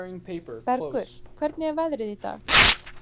Bergur, hvernig er veðrið í dag?